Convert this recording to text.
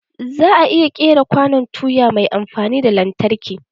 Za'a iya ƙera kwanon tuya mai amfani da lantarki.